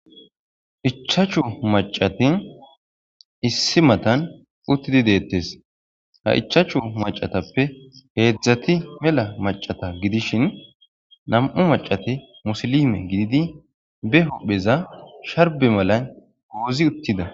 Ichachu macati issi matan uttidi deettes ha ichachu macatappe heedzdzati mela macata gidishin nam7u macati musilime gididi be hophpheza sharbe malan goozi uttida